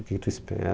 O que que tu espera?